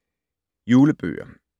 Julebøger